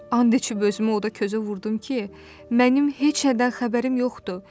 And içib özümü oda-közə vurdum ki, mənim heç nədən xəbərim yoxdur.